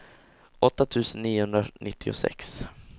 åtta tusen niohundranittiosex